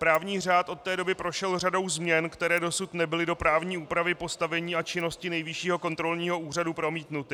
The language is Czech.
Právní řád od té doby prošel řadou změn, které dosud nebyly do právní úpravy postavení a činnosti Nejvyššího kontrolního úřadu promítnuty.